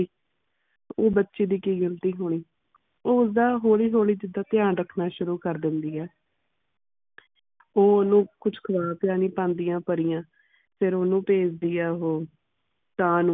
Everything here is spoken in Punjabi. ਉਹ ਬਚੇ ਦੀ ਕਿ ਗ਼ਲਤੀ ਹੋਣੀਂ ਉਹ ਉਸ ਦਾ ਹੋਲੀ ਹੋਲੀ ਜਿੱਦਾ ਧਿਆਨ ਰੱਖਣਾ ਸ਼ੁਰੂ ਕਰ ਦਿੰਦੀ ਹੈ ਉਹ ਓਨੂੰ ਕੁਝ ਖਵਾ ਪਿਲਾ ਨਹੀਂ ਪਾਂਦੀਆਂ ਹੈ ਪਰੀਆਂ ਫੇਰ ਓਨੁ ਭੇਜਦੀ ਆ ਉਹ ਕਾਂ ਨੂੰ